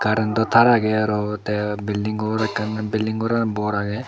carantow tar aagay arow tay building gor akan bilding goran bor agay.